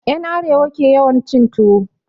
En Arewa ke yawan cin tuwo